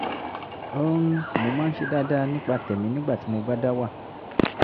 um mo máa ń ṣe dáadáa nípa tẹ̀mí nígbà tí mo bá dá wà